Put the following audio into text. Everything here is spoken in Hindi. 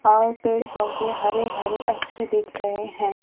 और पेड़ पौधे हरे भरे अच्छे दिख रहे हैं।